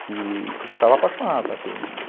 Que estava apaixonado por aquele menino.